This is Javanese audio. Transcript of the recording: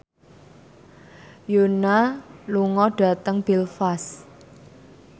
Yoona lunga dhateng Belfast